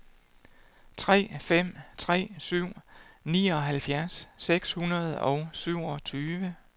tre fem tre syv nioghalvfjerds seks hundrede og syvogtyve